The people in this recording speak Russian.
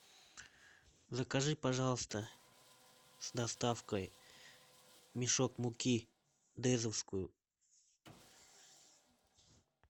закажи пожалуйста с доставкой мешок муки дезовскую